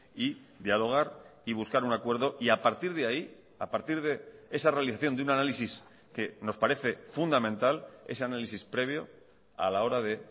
y dialogar y buscar un acuerdo y a partir de ahí a partir de esa realización de un análisis que nos parece fundamental ese análisis previo a la hora de